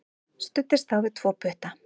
Studdist þá við tvo putta.